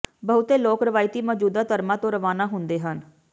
ਬਹੁਤੇ ਲੋਕ ਰਵਾਇਤੀ ਮੌਜੂਦਾ ਧਰਮਾਂ ਤੋਂ ਰਵਾਨਾ ਹੁੰਦੇ ਹਨ